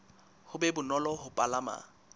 ho be bonolo ho palama